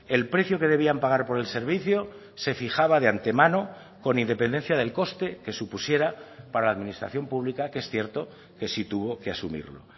el precio que debían pagar por el servicio se fijaba de antemano con independencia del coste que supusiera para la administración pública que es cierto que sí tuvo que asumirlo